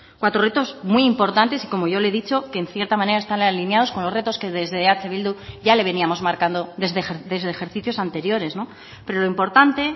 cuatro retos muy importantes y como yo le he dicho que en cierta manera están alineados con los retos que desde eh bildu ya le veníamos marcando desde ejercicios anteriores pero lo importante